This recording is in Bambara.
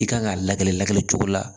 I kan ka layɛli lakɛ cogo la